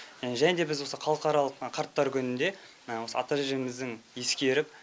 және де біз осы халықаралық қарттар күнінде осы ата әжеміздің ескеріп